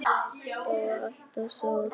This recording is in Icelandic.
Þá var alltaf sól.